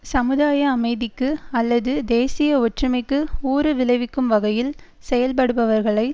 சமுதாய அமைதிக்கு அல்லது தேசிய ஒற்றுமைக்கு ஊறுவிளைவிக்கும் வகையில் செயல்படுபவர்களை